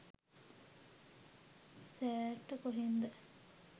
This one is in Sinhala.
සෑර්ට කොහෙන්ද